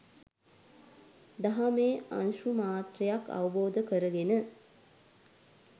දහමේ අංශුමාත්‍රයක් අවබෝධ කරගෙන